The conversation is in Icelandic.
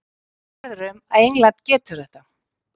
Ég er sannfærður um að England getur þetta.